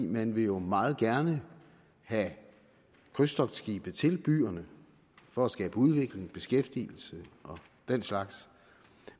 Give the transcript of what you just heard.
man vil jo meget gerne have krydstogtskibe til byerne for at skabe udvikling beskæftigelse og den slags